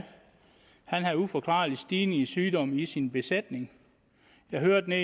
havde en uforklarlig stigning i sygdomme i sin besætning jeg hørte